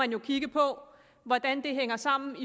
vi kigge på hvordan det hænger sammen med